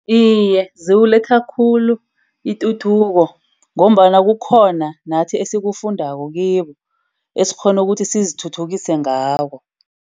Iye, ziwuletha khulu ituthuko ngombana kukhona nathi esikufundako kiwo. Esikghona ukuthi sizithuthukise ngawo.